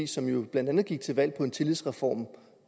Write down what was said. som jo blandt andet gik til valg på en tillidsreform